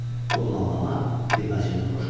Bu planlama xidmətçinin xoşuna gəldi.